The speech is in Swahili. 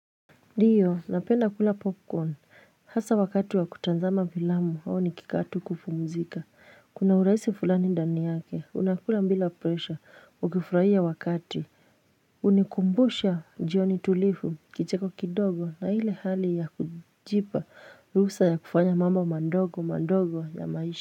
Ndiyo, napenda kula popcorn. Hasa wakati wa kutazama filamu au nikikaa tu kupumuzika. Kuna urahisi fulani ndani yake unakula bila presha ukifurahia wakati, hunikumbusha njioni tulivu, kicheko kidogo na ile hali ya kujipa ruhusa ya kufanya mambo mandogo mandogo ya maisha.